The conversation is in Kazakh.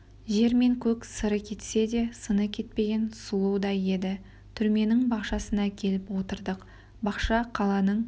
жер мен көк сыры кетсе де сыны кетпеген сұлудай еді түрменің бақшасына келіп отырдық бақша қаланың